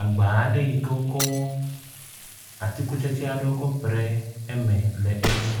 agba aɖe yike wókɔ atikutsetse aɖe kɔ ƒo ɖe me le edzi